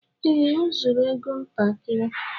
Ee, o zuru égo ntakịrị